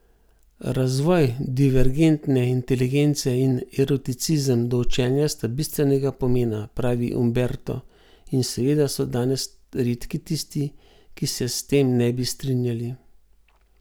Razvoj divergentne inteligence in eroticizem do učenja sta bistvenega pomena, pravi Umberto in verjetno so danes redki tisti, ki se s tem ne bi strinjali.